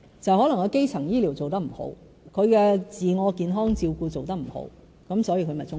可能是基層醫療做得不好，自我健康照顧做得不好，因此他便中風。